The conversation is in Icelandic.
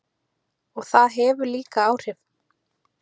Og það hefur líka áhrif.